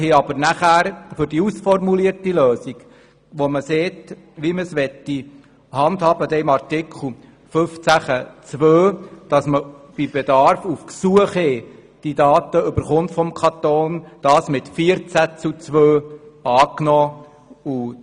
Die Kommission hat die ausformulierte Lösung zu Artikel 15 Absatz 2 mit 14 zu 2 Stimmen angenommen, welche besagt, wie die Handhabung erfolgen soll, damit man die Daten des Kantons bei Bedarf auf Ersuchen hin erhält.